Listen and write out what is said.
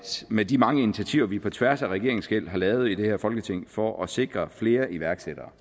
med de mange initiativer vi på tværs af regeringsskel har lavet i det her folketing for at sikre flere iværksættere